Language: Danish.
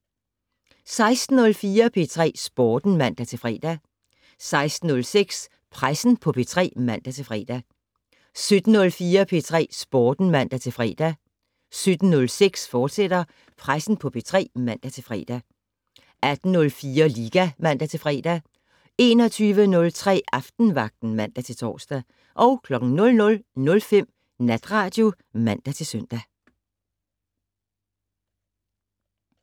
16:04: P3 Sporten (man-fre) 16:06: Pressen på P3 (man-fre) 17:04: P3 Sporten (man-fre) 17:06: Pressen på P3, fortsat (man-fre) 18:04: Liga (man-fre) 21:03: Aftenvagten (man-tor) 00:05: Natradio (man-søn)